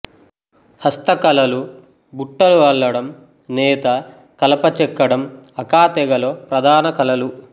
హస్తకళలు బుట్టలు అల్లడం నేత కలప చెక్కడం అకా తెగలో ప్రధాన కళలు